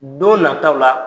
Don nataaw la